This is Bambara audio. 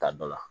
Ta dɔ la